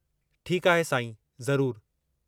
ठीकु आहे साईं, ज़रूरु।